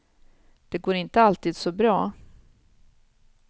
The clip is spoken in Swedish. Det går inte alltid så bra.